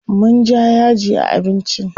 Man ja ya ji a abincin?